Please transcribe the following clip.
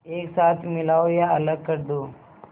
एक साथ मिलाओ या अलग कर दो